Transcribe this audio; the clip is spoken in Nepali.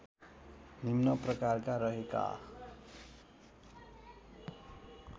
निम्न प्रकार रहेका